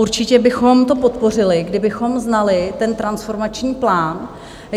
Určitě bychom to podpořili, kdybychom znali ten transformační plán.